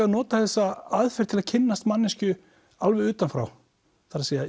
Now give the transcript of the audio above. að nota þessa aðferð til að kynnast manneskju alveg utan frá það er